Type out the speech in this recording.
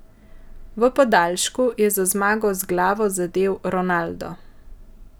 V podaljšku je za zmago z glavo zadel Ronaldo.